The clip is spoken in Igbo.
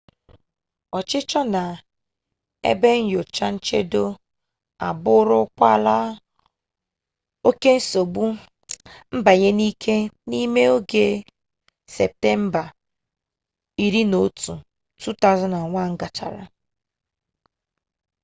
ọchịchọ na ebe nyocha nchedo abụrụkwala oke nsogbu mbanye n'ike n'ime oge septemba 11 2001 gachara